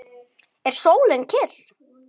Er sólin kyrr?